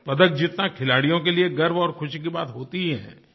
पदक जीतना खिलाड़ियों के लिए गर्व और खुशी की बात होती ही है